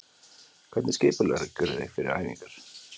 Hvernig skipuleggurðu þig fyrir æfingar?